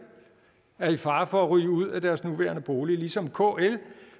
er i fare for at ryge ud af deres nuværende bolig ligesom kl